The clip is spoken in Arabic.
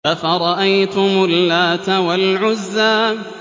أَفَرَأَيْتُمُ اللَّاتَ وَالْعُزَّىٰ